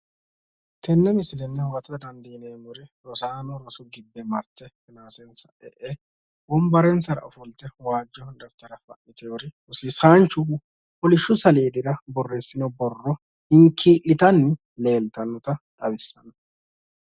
tenne misilenni huwatate dandiinemori roosano rossu gibbe marte rosonsa e'e wonbarensara ofolte waajjo daftara fa'niteyoori rossisanchu koolishu saaledira borressinore hinkilitanni noota leellishano